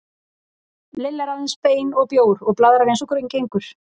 Lilla er aðeins bein og bjór og blaðrar eins og gengur.